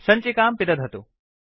सञ्चिकां पिदधतु